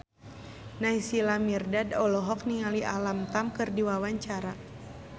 Naysila Mirdad olohok ningali Alam Tam keur diwawancara